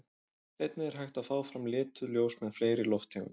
Einnig er hægt að fá fram lituð ljós með fleiri lofttegundum.